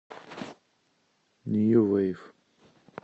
нью вейв